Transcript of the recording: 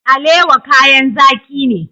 Alewa kayan zaki ne.